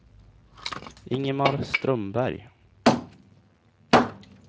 Ingemar Strömberg